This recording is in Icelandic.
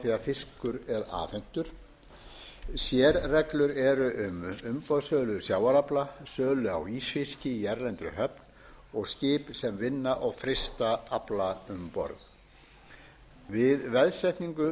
því að fiskur er afhentur sérreglur eru um umboðssölu sjávarafla sölu á ísfiski í erlendri höfn og skip sem vinna og frysta afla um borð við veðsetningu